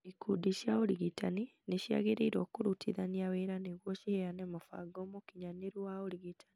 Ikundi cia ũrigitani nĩ ciagĩrĩirũo kũrutithania wĩra nĩguo ciheane mũbango mũkinyanĩru wa ũrigitani